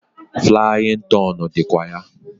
Flaying ton dikwa ya.